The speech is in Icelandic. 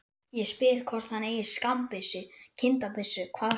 Það voru kalvínistarnir sem gerðu þessar ótrúlega fíngerðu myndir.